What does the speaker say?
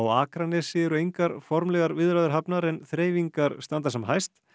Akranesi eru engar formlegar viðræður hafnar en þreifingar standa sem hæst